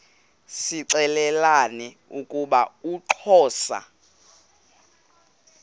zixelelana ukuba uxhosa